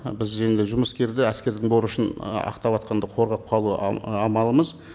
біз енді жұмыскерді әскердің борышын ы ақтаватқанды қорғап қалу амалымыз